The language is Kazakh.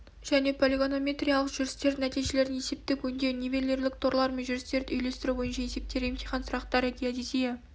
және полигонометриялық жүрістердің нәтижелерін есептік өңдеу нивелирлік торлар мен жүрістерді үйлестіру бойынша есептер емтихан сұрақтары геодезия